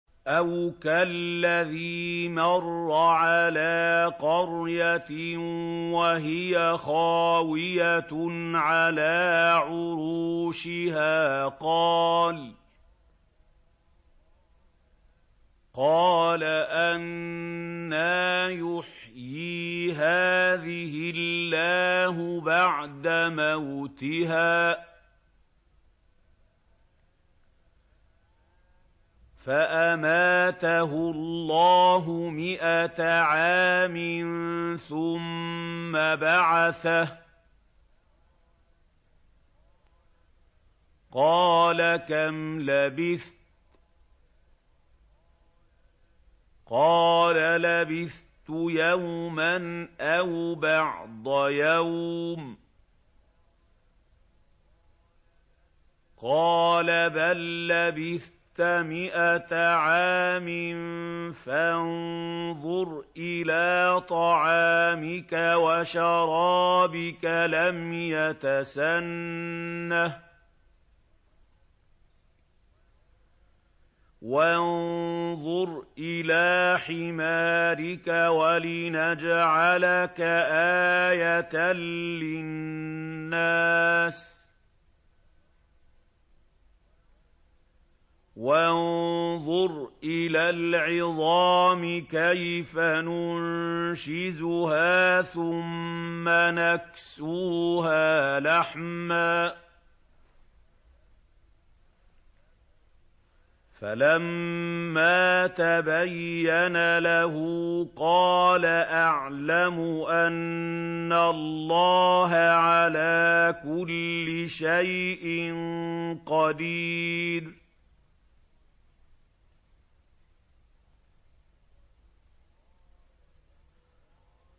أَوْ كَالَّذِي مَرَّ عَلَىٰ قَرْيَةٍ وَهِيَ خَاوِيَةٌ عَلَىٰ عُرُوشِهَا قَالَ أَنَّىٰ يُحْيِي هَٰذِهِ اللَّهُ بَعْدَ مَوْتِهَا ۖ فَأَمَاتَهُ اللَّهُ مِائَةَ عَامٍ ثُمَّ بَعَثَهُ ۖ قَالَ كَمْ لَبِثْتَ ۖ قَالَ لَبِثْتُ يَوْمًا أَوْ بَعْضَ يَوْمٍ ۖ قَالَ بَل لَّبِثْتَ مِائَةَ عَامٍ فَانظُرْ إِلَىٰ طَعَامِكَ وَشَرَابِكَ لَمْ يَتَسَنَّهْ ۖ وَانظُرْ إِلَىٰ حِمَارِكَ وَلِنَجْعَلَكَ آيَةً لِّلنَّاسِ ۖ وَانظُرْ إِلَى الْعِظَامِ كَيْفَ نُنشِزُهَا ثُمَّ نَكْسُوهَا لَحْمًا ۚ فَلَمَّا تَبَيَّنَ لَهُ قَالَ أَعْلَمُ أَنَّ اللَّهَ عَلَىٰ كُلِّ شَيْءٍ قَدِيرٌ